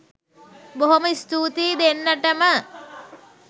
බොහොම ස්තූතියි දෙන්නටම